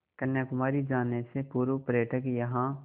कन्याकुमारी जाने से पूर्व पर्यटक यहाँ